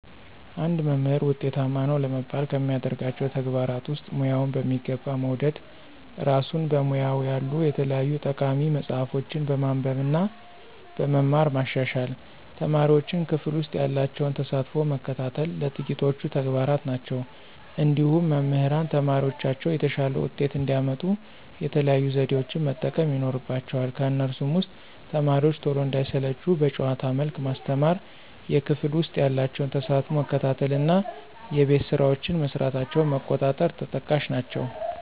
አንድ መምህር ውጤታማ ነው ለመባል ከሚያደርጋቸው ተግባራት ውስጥ፦ ሙያውን በሚገባ መውደድ፣ እራሱን በሙያው ያሉ የተለያዩ ጠቃሚ መፅሀፎችን በማንበብ እና በመማር ማሻሻል፣ ተማሪዎቹን ክፍል ውሰጥ ያላቸውን ተሳትፎ መከታተል ጥቂቶቹ ተግባራት ናቸው። እንዲሁም መምህራን ተማሪዎቻቸው የተሻለ ውጤት እንዲያመጡ የተለያዩ ዘዴዎችን መጠቀም ይኖርባቸዋል ከነሱም ውስጥ፦ ተማሪዎቹ ቶሎ እንዳይሰለቹ በጨዋታ መልክ ማስተማር፣ የክፍል ውስጥ ያላቸውን ተሳትፎ መከታተል እና የቤት ስራቸውን መስራታቸውን መቆጣጠር ተጠቃሽ ናቸው።